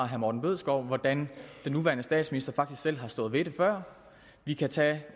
herre morten bødskov hvordan den nuværende statsminister faktisk selv har stået ved det før vi kan tage